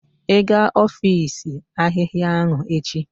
Ị ga efosi ahịhịa ahụ echi?